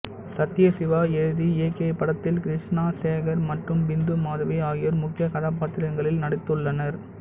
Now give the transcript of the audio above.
சத்யசிவா எழுதி இயக்கிய இப்படத்தில் கிருஷ்ணா சேகர் மற்றும் பிந்து மாதவி ஆகியோர் முக்கிய கதாபாத்திரங்களில் நடித்துள்ளனர்